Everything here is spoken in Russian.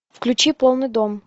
включи полный дом